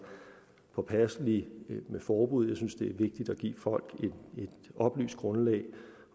påpasselig med forbud jeg synes det er vigtigt at give folk et oplyst grundlag